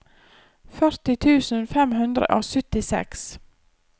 førti tusen fem hundre og syttiseks